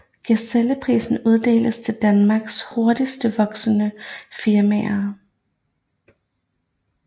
Gazelleprisen uddeles til Danmarks hurtigst voksende firmaer